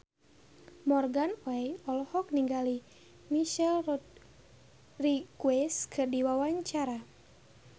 Morgan Oey olohok ningali Michelle Rodriguez keur diwawancara